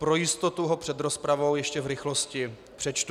Pro jistotu ho před rozpravou ještě v rychlosti přečtu.